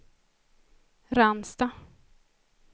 Ransta